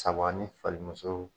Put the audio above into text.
Saba ni fali muso.